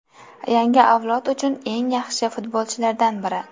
Yangi avlod uchun u eng yaxshi futbolchilardan biri.